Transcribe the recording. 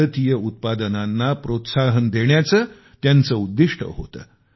भारतीय उत्पादनांना प्रोत्साहन देण्याचे त्यांचे लक्ष्य होते